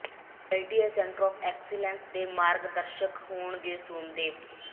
DLTA centre of excellence ਦੇ ਮਾਰਗ ਦਰਸ਼ਕ ਹੋਣਗੇ ਸੋਮਦੇਵ